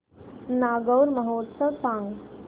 नागौर महोत्सव सांग